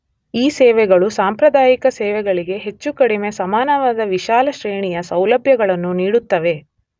ಈ ಸೇವೆಗಳು ಸಾಂಪ್ರದಾಯಿಕ ಸೇವೆಗಳಿಗೆ ಹೆಚ್ಚು ಕಡಿಮೆ ಸಮಾನವಾದ ವಿಶಾಲ ಶ್ರೇಣಿಯ ಸೌಲಭ್ಯಗಳನ್ನು ನೀಡುತ್ತವೆ.